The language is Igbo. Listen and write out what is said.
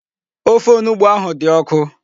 Ofe onugbu ahụ dị ọkụ.